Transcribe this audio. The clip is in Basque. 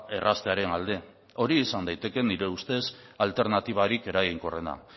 erraztearen alde hori izan daiteke nire ustez alternatibarik eraginkorrena